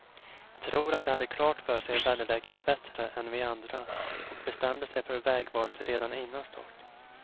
Jag tror att de hade klart för sig väderläget bättre än vi andra och bestämde sig för vägvalet redan innan start.